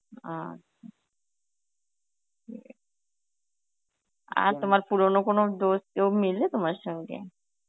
আচ্ছা আর তোমার পুরনো কোন Hindi কেউ মিলে তোমার সঙ্গে?